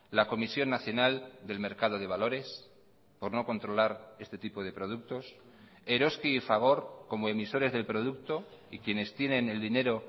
la comisión nacional del mercado de valores por no controlar este tipo de productos eroski y fagor como emisores del producto y quienes tienen el dinero